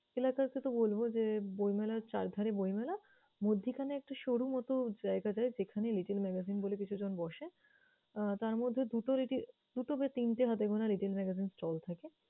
এলাকারটা বলব যে, বইমেলার চারধারে বইমেলা মধ্যিখানে একটা সরু মত জায়গা দেয় যেখানে little magazine বলে কিছুজন বসে। আহ তারমধ্যে দুটো litt~ দুটো বা তিনটে হাতেগোনা little magazine stall থাকে।